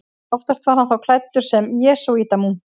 Oftast var hann þá klæddur sem jesúítamunkur.